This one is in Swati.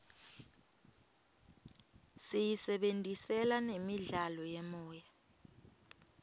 siyisebentisela nemidlalo yemoya